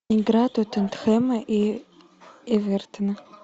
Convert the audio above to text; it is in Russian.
игра тоттенхэма и эвертона